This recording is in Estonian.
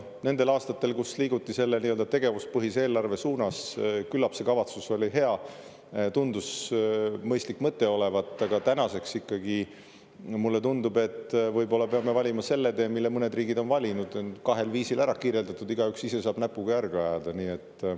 Nendel aastatel, kus liiguti selle tegevuspõhise eelarve suunas, küllap see kavatsus oli hea, tundus mõistlik mõte olevat, aga tänaseks ikkagi mulle tundub, et võib-olla peame valima selle tee, mille mõned riigid on valinud: on kahel viisil ära kirjeldatud, igaüks ise saab näpuga järge ajada.